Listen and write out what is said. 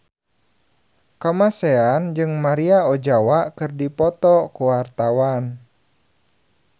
Kamasean jeung Maria Ozawa keur dipoto ku wartawan